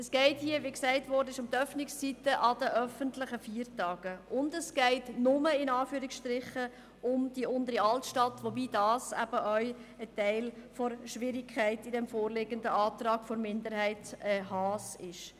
Es geht hier, wie gesagt, um die Öffnungszeiten an Sonn- und an öffentlichen Feiertagen und nur – in Anführungszeichen – um die Untere Altstadt, wobei das das Problematische am vorliegenden Antrag ist.